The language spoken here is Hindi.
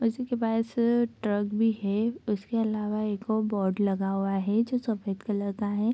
उसी के पास ट्रक भी है उसके अलावा एगो बोर्ड लगा हुआ है जो सफेद कलर का है।